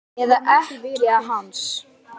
Eða ekkja hans?